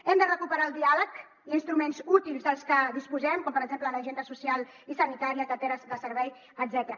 hem de recuperar el diàleg i instruments útils dels que disposem com per exemple l’agenda social i sanitària carteres de servei etcètera